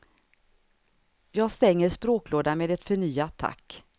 Jag stänger språklådan med ett förnyat tack.